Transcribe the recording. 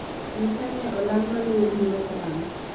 nyisa ni olang' maluwo biro karang'o